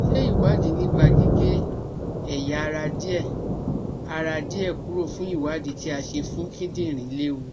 Ṣé ìwádìí nípa gige eya ara die ara die kuro fun iwadi ti a se fun kindinrin lewù?